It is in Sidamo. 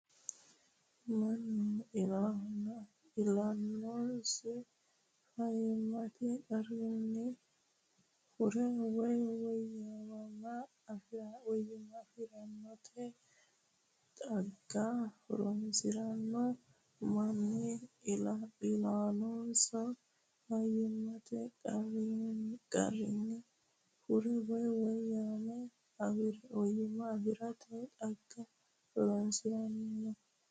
Mannu iillannosi fayyimmate qarrinni hurre woy woyyimma afi’rate xagga horoonsi’ranno Mannu iillannosi fayyimmate qarrinni hurre woy woyyimma afi’rate xagga horoonsi’ranno.